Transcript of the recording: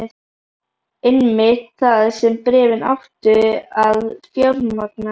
Einmitt það sem bréfin áttu að fjármagna.